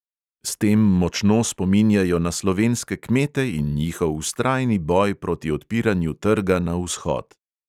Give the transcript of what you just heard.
S tem močno spominjajo na slovenske kmete in njihov vztrajni boj proti odpiranju trga na vzhod.